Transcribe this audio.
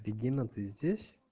регина ты здесь